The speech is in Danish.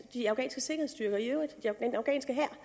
de afghanske sikkerhedsstyrker i øvrigt den afghanske hær